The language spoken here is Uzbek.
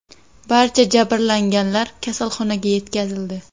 Barcha jabrlanganlar kasalxonaga yetkazildi.